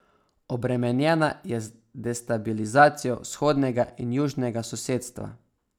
Obremenjena je z destabilizacijo vzhodnega in južnega sosedstva.